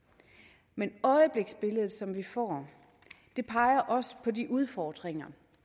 men øjebliksbillede som vi får peger også på de udfordringer